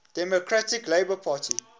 democratic labour party